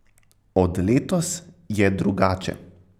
Od letos je drugače.